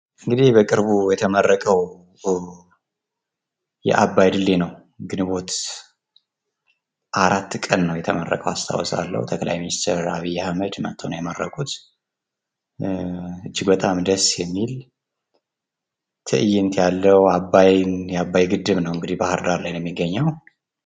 እንግዲህ በቅርቡ የተመረቀው የአባይ ድልድይ ነው። ግንቦት 4 ቀን ነው የተመረቀው አስታውሳልሁ ጠቅላይ ሚኒስቴር አህመድ መጠው ነው የመረቁት እጅግ በጣም ደስ የሚል ትእይንት ያለው አባይን የአባይ ግድብ ነው እንግዲህ ባህር ዳር ላይ ነው የሚገኘው